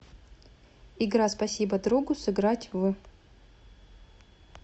игра спасибо другу сыграть в